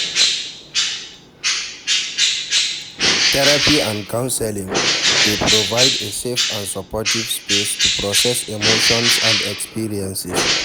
Therapy and counseling dey provide a safe and supportive space to process emotions and experiences.